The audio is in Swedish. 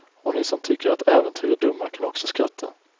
Och ni som tycker att äventyr är dumma kan också skratta.